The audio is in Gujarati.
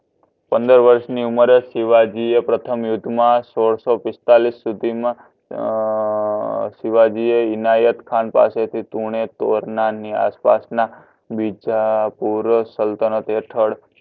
પંદર વર્ષ ની ઉમેર એ સીવજી એ પ્રથમ યુદ્ધમા સોડસોપિસ્તાડિસ સુધીમાં અઅ સીવાજી અ ઇનાયત ખાન પાસેથી તુનેટોરનાર ની આસપાસ ના પૂર્વસલ્તનત હેથડ